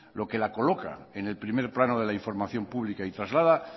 lo que la coloca en el primer plano de la información pública y traslada